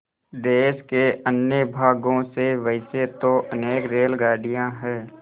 देश के अन्य भागों से वैसे तो अनेक रेलगाड़ियाँ हैं